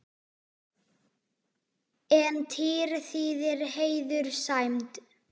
En tír þýðir heiður, sæmd.